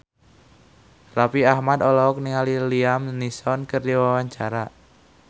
Raffi Ahmad olohok ningali Liam Neeson keur diwawancara